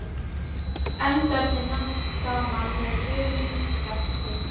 Endarnir nást saman með hröðum rekstri.